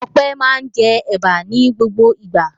Ọpẹ́ máa ń jẹ ẹ̀bà ní gbogbo ìgbà.